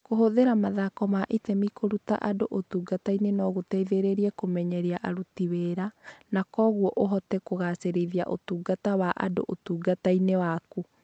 Kũhũthĩra mathako ma itemi kũruta andũ ũtungata no gũgũteithie kũmenyeria aruti wĩra, na kwoguo ũhote kũgaacĩrithia ũtungata wa andũ ũtungata-inĩ waku.